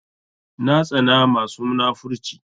Na tsana masu munafurci